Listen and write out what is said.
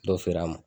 Dɔ feere a ma